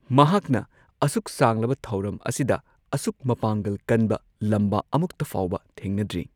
ꯃꯍꯥꯛꯅ ꯑꯁꯨꯛ ꯁꯥꯡꯂꯕ ꯊꯧꯔꯝ ꯑꯁꯤꯗ ꯑꯁꯨꯛ ꯃꯄꯥꯡꯒꯜ ꯀꯟꯕ ꯂꯝꯕꯥ ꯑꯃꯨꯛꯇ ꯐꯥꯎꯕ ꯊꯦꯡꯅꯗ꯭ꯔꯤ꯫